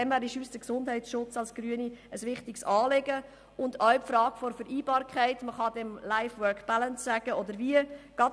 Deshalb ist der Gesundheitsschutz für uns Grüne ein ebenso wichtiges Anliegen wie die Frage nach der Vereinbarkeit von Beruf, Freizeit und Familie, auch WorkLife-Balance genannt.